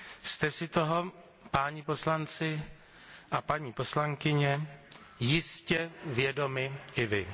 Jste si toho páni poslanci a paní poslankyně jistě vědomi i vy.